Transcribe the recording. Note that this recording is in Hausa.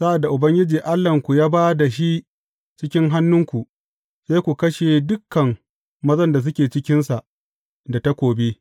Sa’ad da Ubangiji Allahnku ya ba da shi cikin hannunku, sai ku kashe dukan mazan da suke cikinsa da takobi.